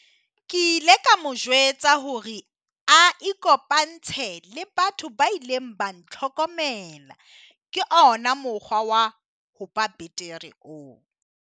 Ke ile ka mo jwetsa hore a ikopantshe le batho ba ileng ba ntlhokomela - ke ona mokgwa wa ho ba betere oo.